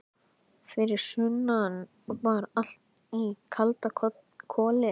Fyrir sunnan var allt í kalda koli.